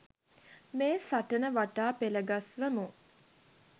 මේ සටන වටා පෙළ ගස්වමු